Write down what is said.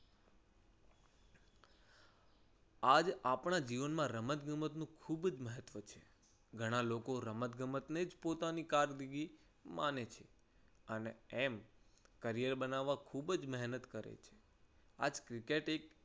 આજ આપણા જીવનમાં રમત-ગમત નું ખૂબ જ મહત્વ છે. ઘણા લોકો રમત ગમતને જ પોતાની કારકિર્દી માને છે અને એમ career બનાવવા ખૂબ જ મહેનત કરે છે. આ જ ક્રિકેટ એક